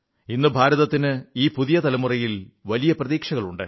ഇന്ന് ഭാരതത്തിന് ഈ പുതിയ തലമുറയിൽ വലിയ പ്രതീക്ഷകളുണ്ട്